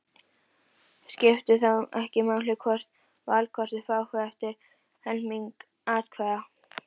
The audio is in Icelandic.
Svo var einnig um flest í guðspekinni.